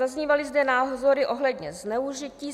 Zaznívaly zde názory ohledně zneužití.